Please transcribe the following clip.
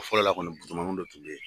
fɔlɔ la kɔni musomaniw de tun tɛ yen